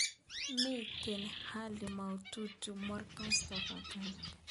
Mi hali maututi Morgan Tsvangirai